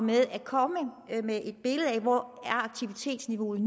ved at komme med et billede af hvor aktivitetsniveauet